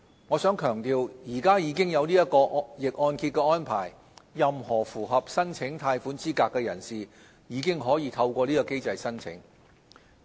我想強調，現時已經有逆按揭的安排，任何符合申請貸款資格的人士，已經可以透過這個機制申請。